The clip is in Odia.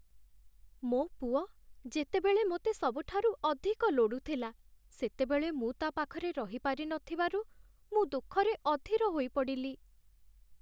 ମୋ ପୁଅ ଯେତେବେଳେ ମୋତେ ସବୁଠାରୁ ଅଧିକ ଲୋଡ଼ୁଥିଲା, ସେତେବେଳେ ମୁଁ ତା' ପାଖରେ ରହିପାରି ନଥିବାରୁ ମୁଁ ଦୁଃଖରେ ଅଧୀର ହୋଇପଡ଼ିଲି।